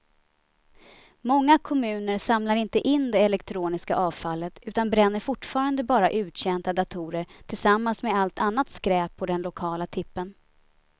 Många kommuner samlar inte in det elektroniska avfallet utan bränner fortfarande bara uttjänta datorer tillsammans med allt annat skräp på den lokala tippen.